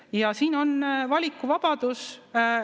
Ja siin on valikuvabadus.